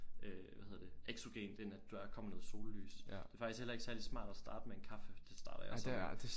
Øh hvad hedder det eksogen det når at der kommer noget sollys det er faktisk heller ikke særlig smart at starte med en kaffe det starter jeg så med